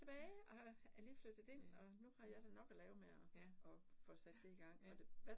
Ja, ja, ja, ja ja